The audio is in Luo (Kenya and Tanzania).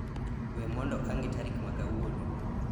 we mondo ang'e tarik ma kawuono